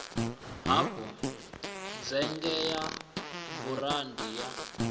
hafu dzhege ya burandi ya